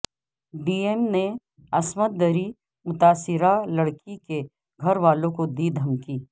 D M نے عصمت دری متاثرہ لڑکی کے گھر والوں کو دی دھمکی